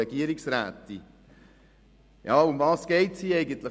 Worum geht es eigentlich?